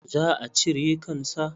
Za a cire kan sa.